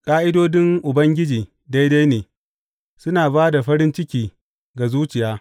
Ƙa’idodin Ubangiji daidai ne, suna ba da farin ciki ga zuciya.